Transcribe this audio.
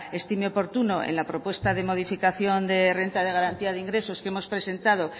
estime oportuno en la propuesta de modificación de renta de garantía de ingresos que hemos presentado